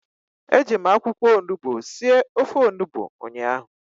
Eji m akwụkwọ onugbu sie ofe onugbu ụnyahụ